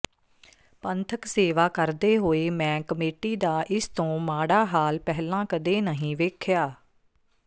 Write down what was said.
ਪੰਥਕ ਸੇਵਾ ਕਰਦੇ ਹੋਏ ਮੈਂ ਕਮੇਟੀ ਦਾ ਇਸ ਤੋਂ ਮਾੜਾ ਹਾਲ ਪਹਿਲਾਂ ਕਦੇ ਨਹੀਂ ਵੇਖਿਆ